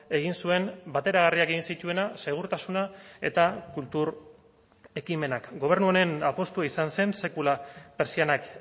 egin zuen bateragarriak egin zituena segurtasuna eta kultur ekimenak gobernu honen apustua izan zen sekula pertsianak